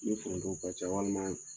Ni foronto ka ca walima